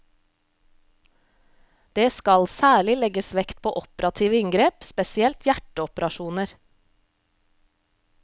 Det skal særlig legges vekt på operative inngrep, spesielt hjerteoperasjoner.